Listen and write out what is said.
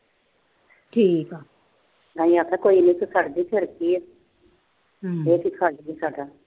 ਮੈਂ ਕਿਹਾ ਇੱਥੇ ਪੜ੍ਹਦੀ ਫਿਰ ਕੀ ਆ।